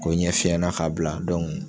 Ko n ɲɛ fiyɛnna ka bila